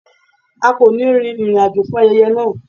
A kò ní rin ìrìn àjò fún ayẹyẹ náà.